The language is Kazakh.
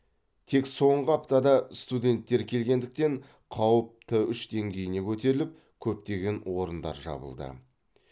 тек соңғы аптада студенттер келгендіктен қауіп т үш деңгейіне көтеріліп көптеген орындар жабылды